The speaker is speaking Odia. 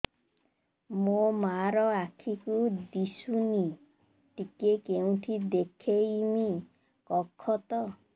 ମୋ ମା ର ଆଖି କି ଦିସୁନି ଟିକେ କେଉଁଠି ଦେଖେଇମି କଖତ